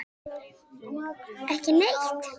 Svavar: Ekki neitt?